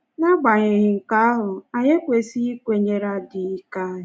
N’agbanyeghị nke ahụ, anyị ekwesịghị ikwenyere adịghị ike anyị